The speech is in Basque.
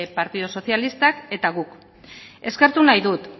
partidu sozialistak eta guk eskertu nahi dut